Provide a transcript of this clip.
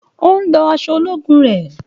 Ó ń fi aṣọ ológun rẹ̀ irin